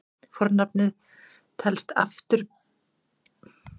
Fornafnið sinn telst afturbeygt eignarfornafn.